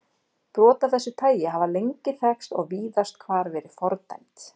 Brot af þessu tagi hafa lengi þekkst og víðast hvar verið fordæmd.